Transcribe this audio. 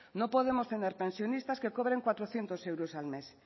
no podemos tener pensionistas que cobren cuatrocientos euros al mes